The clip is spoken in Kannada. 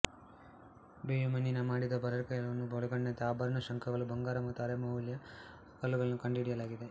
ಬೇಯುಮಣ್ಣಿನಿಂದ ಮಾಡಿದ ಬಳೆಗಳನ್ನು ಒಳಗೊಂಡಂತೆ ಆಭರಣ ಶಂಖಗಳು ಬಂಗಾರ ಮತ್ತು ಅರೆಅಮೂಲ್ಯ ಕಲ್ಲುಗಳನ್ನೂ ಕಂಡುಹಿಡಿಯಲಾಗಿದೆ